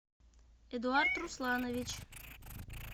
эдуард русланович